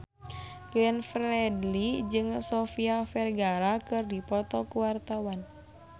Glenn Fredly jeung Sofia Vergara keur dipoto ku wartawan